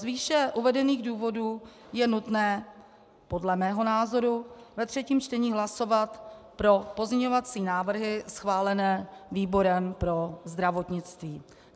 Z výše uvedených důvodů je nutné podle mého názoru ve třetím čtení hlasovat pro pozměňovací návrhy schválené výborem pro zdravotnictví.